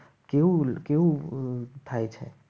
કેવું કેવું થાય છે.